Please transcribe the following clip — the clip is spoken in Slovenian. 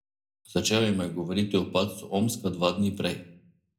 Začel jima je govoriti o padcu Omska dva dni prej.